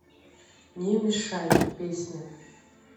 не мешай песня